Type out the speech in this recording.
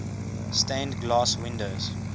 stained glass windows